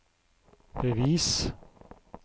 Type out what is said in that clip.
bevis